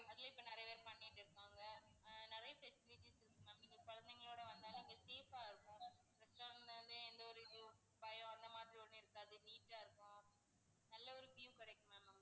அதுலையும் இப்போ நிறைய பேர் பண்ணிட்டிருப்பாங்க. அஹ் நிறைய facilities இருக்கு ma'am குழந்தைங்களோட வந்தாலும் இங்க safe ஆ இருக்கும். அந்த ஒரு இது பயம் அந்த மாதிரி ஒண்ணும் இருக்காது neat ஆ இருக்கும். நல்ல ஒரு view கிடைக்கும் ma'am உங்களுக்கு